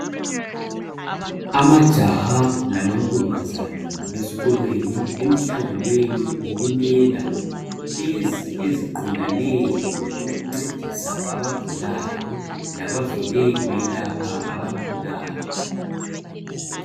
Amajaha lamankazana besikolweni emhlanganweni wokumela lezi eziqondane lo kuncedisa abagulayo labavele beyelapha abagulayo.